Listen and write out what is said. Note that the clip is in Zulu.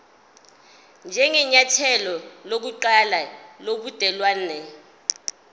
njengenyathelo lokuqala lobudelwane